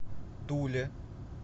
туле